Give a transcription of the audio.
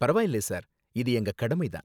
பரவாயில்லை சார், இது எங்க கடமை தான்.